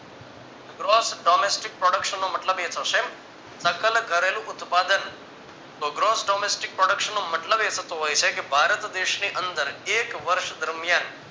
gross domestic production મતલબ એ થશે નકલ કરેલું ઉત્પાદન તો gross domestic production નો મતલબ એ થતો હોય છે કે ભારત દેશની અંદર એક વર્ષ દરમિયાન